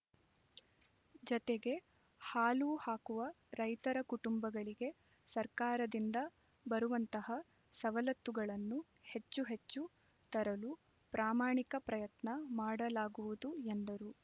ಜತೆಗೆ ಹಾಲು ಹಾಕುವ ರೈತರ ಕುಟುಂಬಗಳಿಗೆ ಸರ್ಕಾರದಿಂದ ಬರುವಂತಹ ಸವಲತ್ತುಗಳನ್ನು ಹೆಚ್ಚು ಹೆಚ್ಚು ತರಲು ಪ್ರಾಮಾಣಿಕ ಪ್ರಯತ್ನ ಮಾಡಲಾಗುವುದು ಎಂದರು